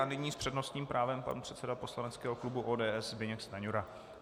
A nyní s přednostním právem pan předseda poslaneckého klubu ODS Zbyněk Stanjura.